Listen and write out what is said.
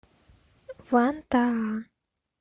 вантаа